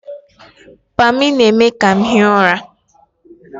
Pammy na-eme ka m hie ụra